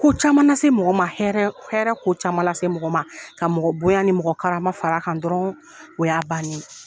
Ko caman lase mɔgɔ ma hɛrɛ hɛrɛ ko caman lase mɔgɔ ma ka mɔgɔ bonya ni mɔgɔ karama far'a kan dɔrɔn o y'a bannen ye.